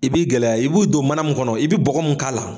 I b'i gɛlɛya, i b'u don mana mun kɔnɔ, i bɛ bɔgɔ mun k'a la.